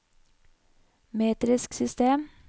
metrisk system